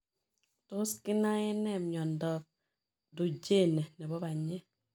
Tos kinae nee miondoop Duchenne nepoo panyek ?